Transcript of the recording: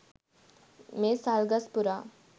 මේ සල් ගස් පුරා